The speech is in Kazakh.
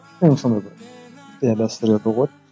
иә дәстүр деп айтуға болады